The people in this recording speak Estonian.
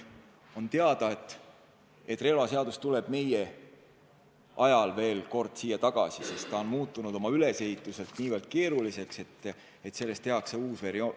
On teada, et relvaseadus tuleb meie ajal veel kord siia saali tagasi, sest ta on ülesehituselt niivõrd keeruliseks muutunud, et sellest tehakse uus versioon.